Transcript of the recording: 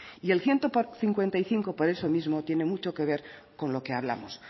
y el ciento cincuenta y cinco por eso mismo tiene mucho que ver con lo que hablamos